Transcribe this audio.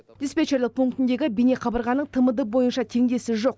диспетчерлік пунктіндегі бейнеқабырғаның тмд бойынша теңдесі жоқ